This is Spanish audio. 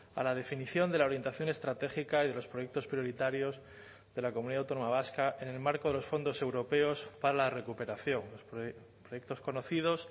a la definición de la orientación estratégica y de los proyectos prioritarios de la comunidad autónoma vasca en el marco de los fondos europeos para la recuperación proyectos conocidos